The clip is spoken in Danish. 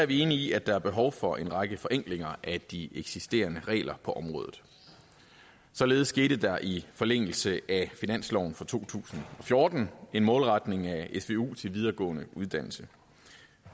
vi enige i at der er behov for en række forenklinger af de eksisterende regler på området således skete der i forlængelse af finansloven for to tusind og fjorten en målretning af svu til videregående uddannelse